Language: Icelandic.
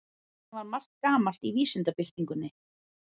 Þannig var margt gamalt í vísindabyltingunni.